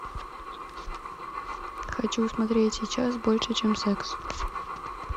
хочу смотреть сейчас больше чем секс